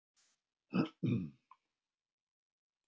Rauð rós á síðasta snúning.